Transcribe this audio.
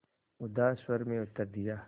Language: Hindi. उदास स्वर में उत्तर दिया